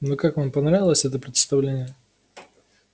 ну как вам понравилось это представление